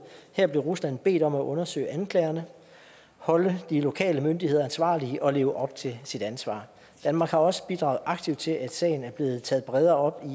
her blev rusland bedt om at undersøge anklagerne holde de lokale myndigheder ansvarlige og leve op til sit ansvar danmark har også bidraget aktivt til at sagen er blevet taget bredere op